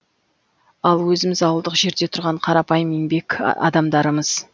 ал өзіміз ауылдық жерде тұрған қарапайым еңбек адамдарымыз